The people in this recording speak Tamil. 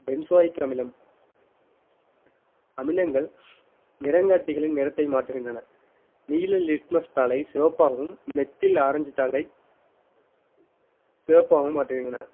benzoic அமிலம் அமிலங்கள் நிறங்காட்டிகளின் நிறத்தை மாற்றுகின்றன நீல litmus தாளை சிவப்பாகவும் methyl ஆரஞ்சு தாளை சிவப்பாகவும் மாற்றுகின்றன